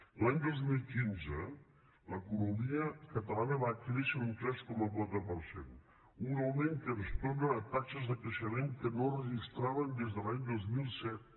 l’any dos mil quinze l’economia catalana va créixer un tres coma quatre per cent un augment que ens torna a taxes de creixement que no registràvem des de l’any dos mil set